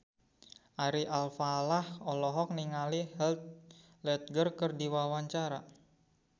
Ari Alfalah olohok ningali Heath Ledger keur diwawancara